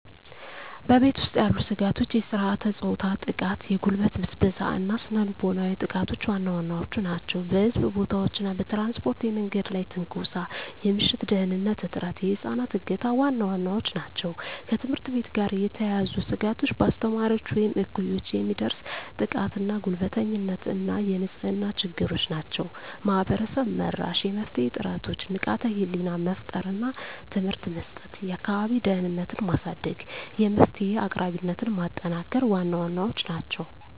በቤት ውስጥ ያሉ ስጋቶች የሥርዓተ-ፆታ ጥቃ፣ የጉልበት ብዝበዛ እና ስነ ልቦናዊ ጥቃቶች ዋና ዋናዎቹ ናቸው። በሕዝብ ቦታዎች እና በትራንስፖርት የመንገድ ላይ ትንኮሳ፣ የምሽት ደህንንነት እጥረት፣ የህፃናት እገታ ዋና ዋናዎቹ ናቸው። ከትምህርት ቤት ጋር የተያያዙ ስጋቶች በአስተማሪዎች ወይም እኩዮች የሚደርስ ጥቃትና ጉልበተኝነት እና የንጽህና ችግሮች ናቸው። ማህበረሰብ-መራሽ የመፍትሄ ጥረቶች ንቃተ ህሊና መፍጠር እና ትምህርት መስጠት፣ የአካባቢ ደህንነትን ማሳደግ፣ የመፍትሄ አቅራቢነትን ማጠናከር ዋና ዋናዎቹ ናቸው።